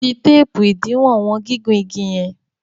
fí teepu idiwọn wọn gigun ìgi yen.